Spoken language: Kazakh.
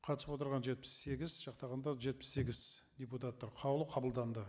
қатысып отырған жетпіс сегіз жақтағандар жетпіс сегіз депутаттар қаулы қабылданды